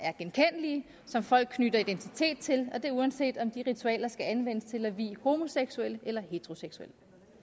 som folk knytter identitet til og det er uanset om de ritualer skal anvendes til at vie homoseksuelle eller heteroseksuelle